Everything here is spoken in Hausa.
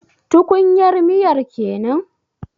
Tukunyar miyar kenan?